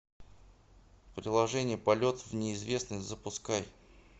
приложение полет в неизвестность запускай